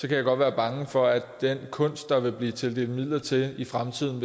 jeg godt være bange for at den kunst der vil blive tildelt midler til i fremtiden